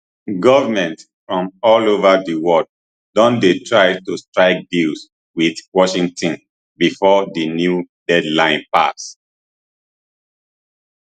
goments from all ova di world don dey try to strike deals wit washington bifor di new deadline pass